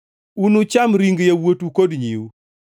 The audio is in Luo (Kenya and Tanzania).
Unucham ring yawuotu kod nyiwu.